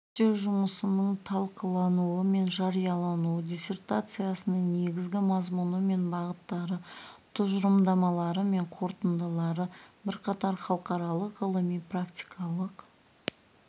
зерттеу жұмысының талқылануы мен жариялануы диссертацияның негізгі мазмұны мен бағыттары тұжырымдамалары мен қорытындылары бірқатар халықаралық ғылыми-практикалық